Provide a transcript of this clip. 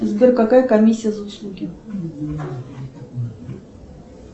сбер какая комиссия за услуги